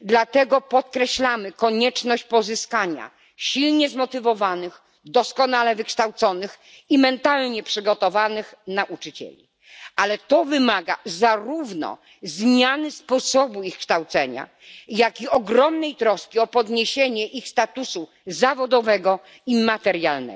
dlatego zwracamy uwagę na konieczność pozyskania silnie zmotywowanych, doskonale wykształconych i mentalnie przygotowanych nauczycieli. Wymaga to jednak zarówno zmiany sposobu ich kształcenia, jak i ogromnej troski o podniesienie ich statusu zawodowego i materialnego.